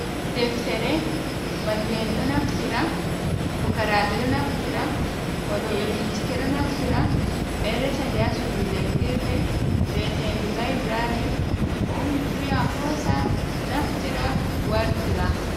Deftere mallum en ɗo naftira, fukarabe ɗo naftira, wadobe bincike ɗo naftira, ɓe resa nde ha suudu jangirde vietend laibrary, mo ummi fu yaha hosa naftira wartira.